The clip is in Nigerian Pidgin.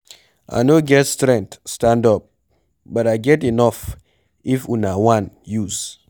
I no get strength stand up but I get enough if una one use.